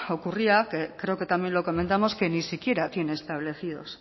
ocurría que creo que también lo comentamos que ni siquiera tiene establecidos